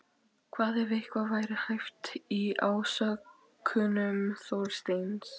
Hvað ef eitthvað væri hæft í ásökunum Þorsteins?